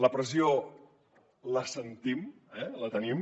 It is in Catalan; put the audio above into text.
la pressió la sentim la tenim